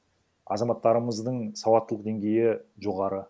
азаматтарымыздың сауаттылық деңгейі жоғары